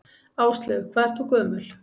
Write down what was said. Áslaug: Hvað ert þú gömul?